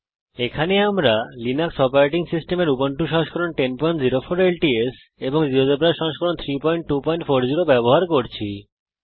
GeoGebra নিয়ে কাজ শুরু করতে আমি জিএনইউলিনাক্স অপারেটিং সিস্টেমের উবুন্টু সংস্করণ 1004 ল্টস এবং জীয়োজেব্রা সংস্করণ 32400 ব্যবহার করছি